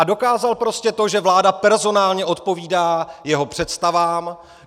A dokázal prostě to, že vláda personálně odpovídá jeho představám.